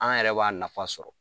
An yɛrɛ b'a nafa sɔrɔ